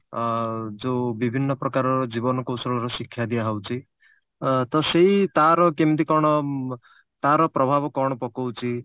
ଅ ଯଉ ବିଭିନ୍ନ ପ୍ରକାରର ଜୀବନ କୌଶଳର ଶିକ୍ଷା ଦିଆହଉଛି ଅ ତ ସେଇ ତାର କେମତି କଣ ତାର ପ୍ରଭାବ କଣ ପକଉଛି